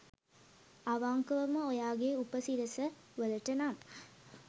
අවංකවම ඔයාගේ උප සිරස වලට නම්